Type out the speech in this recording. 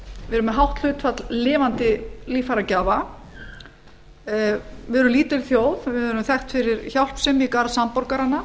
með hátt hlutfall lifandi líffæragjafa við erum lítil þjóð við erum þekkt fyrir hjálpsemi í garð samborgaranna